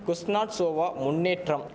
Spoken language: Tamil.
குஸ்னாட்சோவா முன்னேற்றம்